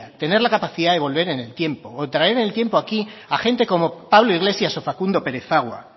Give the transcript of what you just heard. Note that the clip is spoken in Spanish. tener la capacidad de volver en el tiempo o traer en el tiempo aquí a gente como pablo iglesias o facundo perezagua